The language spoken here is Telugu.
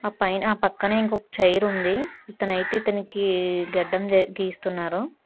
పైన ఆ పక్కనే ఇంకొక చైర్ ఉంది తనకి గడ్డం గీస్తున్నారు.